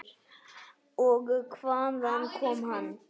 Og hvaðan kom hann?